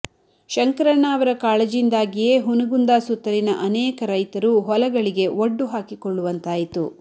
ಶಂಕರಣ್ಣ ಅವರ ಕಾಳಜಿಯಿಂದಾಗಿಯೇ ಹುನಗುಂದ ಸುತ್ತಲಿನ ಅನೇಕ ರೈತರು ಹೊಲಗಳಿಗೆ ಒಡ್ಡು ಹಾಕಿಕೊಳ್ಳುವಂತಾಯಿತು